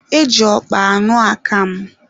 E ji ọkpa aṅụ akamụ.